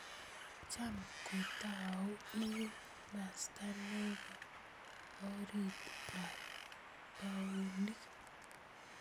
Cham kotau ing masta nepe orit ap puonik.